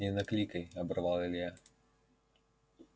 не накликай оборвал илья